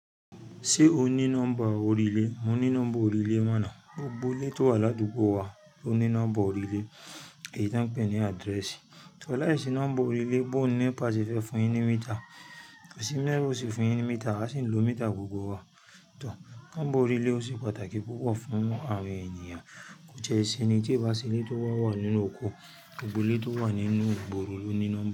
Ṣé o ní nọ́mbà orílè? Mo ní nọ́mbà orílè mọná. Gbogbo ilé tó wà ládùúgbò wa ló ní nọ́mbà orílè èyí tí a ń pè ní adrẹ́sì. Tọ̀ láìsí nọ́mbà orílè, bó ní NEPA ṣe fẹ́ fún yin ní mitre? Kó sì bi NEPA ó ṣe fún yin ní mitre, awa sì ń lo métà gbogbo wa. Nọ́mbà orílè ó ṣe pàtàkì púpọ̀ fún àwọn ènìyàn. Ó jẹ́ ìsinmi tí o bá se ilé tó wà nínú oko, gbogbo ilé tó wà nínú ìgboro ló ní nọ́mbà.